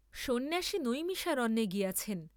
সন্ন্যাসী নৈমিষারণ্যে গিয়াছেন।